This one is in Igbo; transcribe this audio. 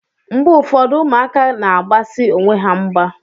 Mgbe ụfọdụ, ụmụaka na-agbasi onwe ha mgba.